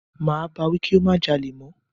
Máa bá wí kí ó má jalè mọ́.